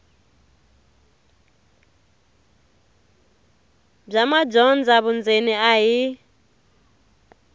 bya madyondza vundzeni a hi